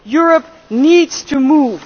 Europe needs to move.